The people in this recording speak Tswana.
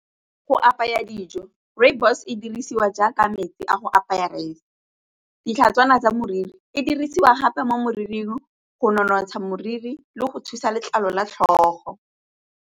Go apaya dijo, rooibos e dirisiwa jaaka metsi a go apaya ditlhatswana tsa moriri e dirisiwa gape mo moriring go nonotsha moriri le go thusa letlalo la tlhogo.